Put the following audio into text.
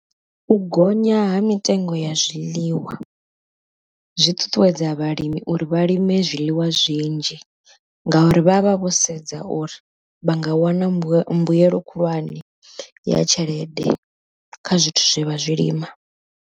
U gonya ha mitengo ya zwiḽiwa zwi ṱuṱuwedza vhalimi uri vha lime zwiḽiwa zwinzhi, ngauri vha vha vho sedza uri vha nga wana mbuyelo mbuyelo khulwane ya tshelede kha zwithu zwe vha zwilima.